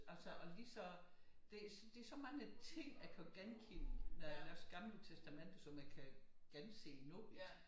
Altså og lige så det så mange ting jeg kan genkende når jeg læser Det Gamle Testamente som jeg kan gense nu